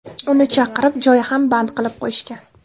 Uni chaqirib, joy ham band qilib qo‘yishgan.